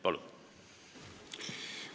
Palun!